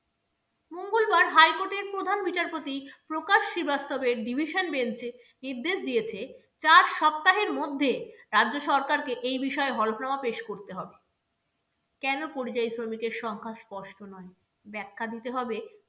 প্রধান বিচারপতি প্রকাশ শ্রীবাস্তবের division bench এ নির্দেশ দিয়েছে, চার সপ্তাহের মধ্যে রাজ্য সরকারকে এই বিষয়ে হলফনামা পেশ করতে হবে কেন পরিযায়ী শ্রমিকের সংখ্যা স্পষ্ট নয়? ব্যাখ্যা দিতে হবে